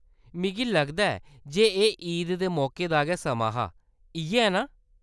मिगी लगदा ऐ जे एह्‌‌ ईद दे मौके दा गै समां हा ? इʼयै ऐ नां